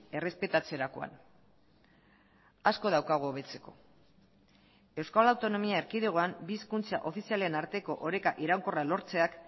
errespetatzerakoan asko daukagu hobetzeko euskal autonomia erkidegoan bi hizkuntza ofizialen arteko oreka iraunkorra lortzeak